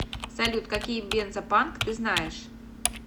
салют какие бензопанк ты знаешь